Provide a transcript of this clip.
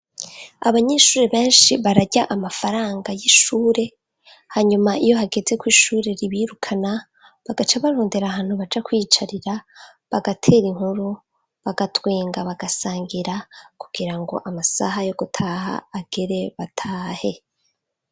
Abanyeshuri benshi bararya amafaranga y'ishure ,hanyuma iyo hageze kw'ishure ribirukana, bagaca barondera ahantu baja kwiyicarira, bagater' inkuru, bagatwenga bagasangira, kugira ngo amasaha yo gutaha agere batahe.